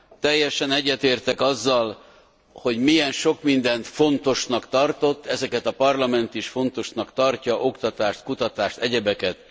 Teljesen egyetértek azzal, hogy milyen sok mindent fontosnak tartott, ezeket a Parlament is fontosnak tartja, oktatást, kutatást, egyebeket.